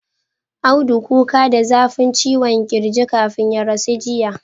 Audu kuka da zafin ciwon kirji kafin ya rasu jiya